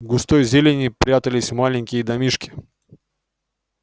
в густой зелени прятались маленькие домишки